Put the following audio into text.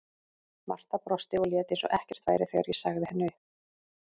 Marta brosti og lét eins og ekkert væri þegar ég sagði henni upp.